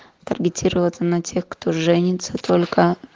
таргетироваться на тех кто женится только